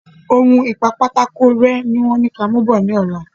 Oun ìpa pátákó ré ni wón ní kí a mù bò ní ọ̀la